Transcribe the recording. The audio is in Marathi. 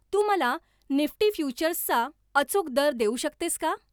तू मला निफ्टी फ्युचर्सचा अचूक दर देऊ शकतेस का?